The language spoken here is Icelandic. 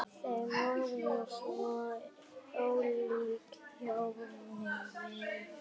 Þau voru svo ólík hjónin.